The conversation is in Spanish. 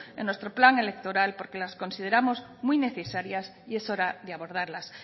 en nuestro plan electoral porque las consideramos muy necesarias y es hora de abordarlas